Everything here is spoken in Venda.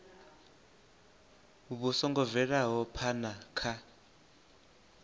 vhu songo bvelaho phana kha